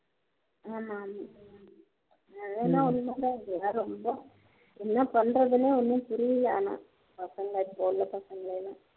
ஆமா ஆமா அது என்னவோ உன்மை தான் இப்போலாம் ரொம்ப என்ன பணறதுன்னே ஒன்னும் புரியல ஆனா பசங்க இப்போ உள்ள பசங்க எல்லாம்